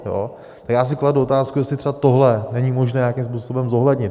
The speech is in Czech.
A já si kladu otázku, jestli třeba tohle není možné nějakým způsobem zohlednit.